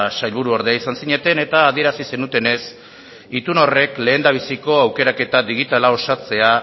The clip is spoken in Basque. sailburuordea izan zineten eta adierazi zenutenez itun horrek lehendabiziko aukerak eta digitala osatzea